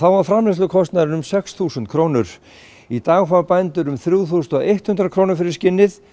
og framleiðslukostnaðurinn var sex þúsund krónur í dag fást þrjú þúsund hundrað krónur fyrir skinnið